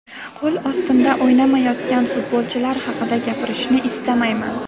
Qo‘l ostimda o‘ynamayotgan futbolchilar haqida gapirishni istamayman.